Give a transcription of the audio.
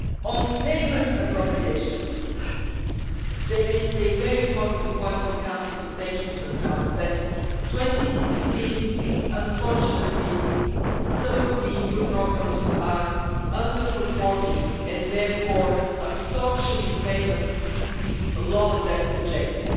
On payment appropriations, there is a very important point for the Council to take into account, namely that in 2016, unfortunately, some of the new programmes are underperforming and therefore the absorption rate in payments is lower than projected.